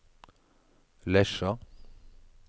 Lesja